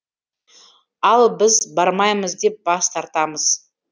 ал біз бармаймыз деп бас тартамыз